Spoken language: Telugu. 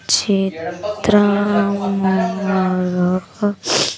చిత్రమనగక--